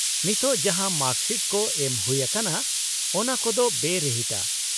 -ᱱᱤᱛᱳᱜ ᱡᱟᱦᱟᱸ ᱢᱟᱨᱠᱥᱤᱴ ᱠᱚ ᱮᱢ ᱦᱩᱭᱩᱜ ᱟᱠᱟᱱᱟ ᱚᱱᱟ ᱠᱚᱫᱚ ᱵᱮᱼᱨᱤᱦᱤᱴᱟ ᱾